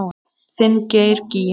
Þinn Geir Gígja.